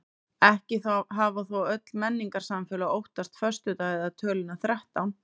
Ekki hafa þó öll menningarsamfélög óttast föstudag eða töluna þrettán.